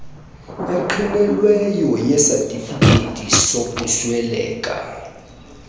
engqinelweyo yesatifiketi sokusweleka